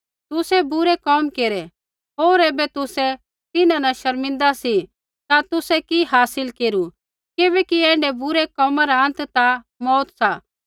तुसै बुरै कोम केरै होर ऐबै तुसै तिन्हां न शर्मिंदा सी ता तुसै कि हासिल केरू किबैकि ऐण्ढै बुरै कोमा रा अंत ता मौऊत सा